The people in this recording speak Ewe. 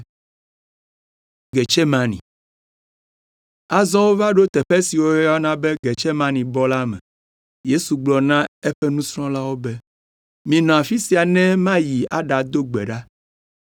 Azɔ wova ɖo teƒe si woyɔna be Getsemanebɔ la me. Yesu gblɔ na eƒe nusrɔ̃lawo be, “Minɔ afi sia ne mayi aɖado gbe ɖa.”